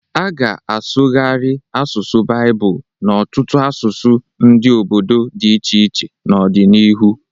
A ga-asụgharị asụsụ Baịbụl n’ọtụtụ asụsụ ndị obodo di iche iche ahụ n’ọdịnihu